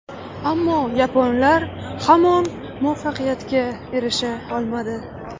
Ammo yaponlar hamon muvaffaqiyatga erisha olmadi.